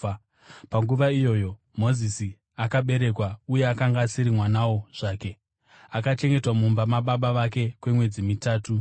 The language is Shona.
“Panguva iyoyo Mozisi akaberekwa, uye akanga asiri mwanawo zvake. Akachengetwa mumba mababa vake kwemwedzi mitatu.